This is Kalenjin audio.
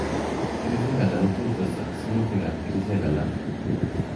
Kerchek alak kotustoi aka sirutik ab kerchek alak.